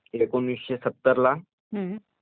दोम कंपन्या आल्या ...